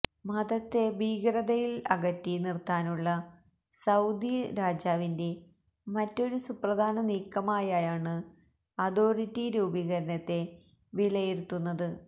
മതത്തെ ഭീകരതയില് അകറ്റി നിര്ത്താനുള്ള സൌദി രാജാവിന്റെ മറ്റൊരു സുപ്രധാന നീക്കമായായാണ് അതോരിറ്റി രൂപീകരണത്തെ വിലയിരുത്തുന്നത്